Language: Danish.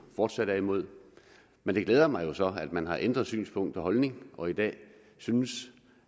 fortsat er imod men det glæder mig så at man har ændret synspunkt og holdning og i dag synes